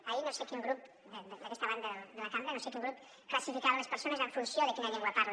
ahir no sé quin grup d’aquesta banda de la cambra no sé quin grup classificava les persones en funció de quina llengua parla